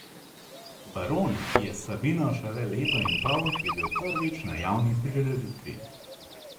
Baron, ki je s Sabino šele leto in pol, je bil prvič na javni prireditvi.